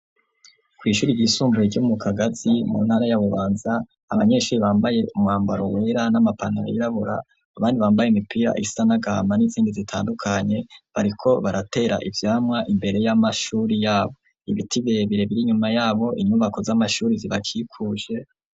Kw'ishuri ry'isumbuye ryomu Kagazi mu ntara ya Bubanza abanyeshuri bambaye umwambaro wera n'amapantaro yirabura abandi bambaye mipira is nagahama n'izindi zitandukanye bariko baratera ivyamwa imbere y'amashuri yabo. Ibiti birebire nyuma yabo inyubako z'amashuri zibakikuje.